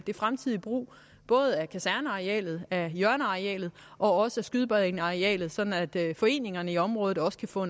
fremtidige brug af både kasernearealet af hjørnearealet og også af skydebanearealet sådan at foreningerne i området også kan få